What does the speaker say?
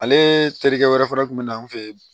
Ale terikɛ wɛrɛ fɛnɛ kun be na an fe yen